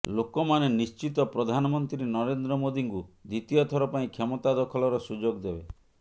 ଲୋକମାନେ ନିଶ୍ଚିତ ପ୍ରଧାନମନ୍ତ୍ରୀ ନରେନ୍ଦ୍ର ମୋଦିଙ୍କୁ ଦ୍ୱିତୀୟ ଥର ପାଇଁ କ୍ଷମତା ଦଖଲର ସୁଯୋଗ ଦେବେ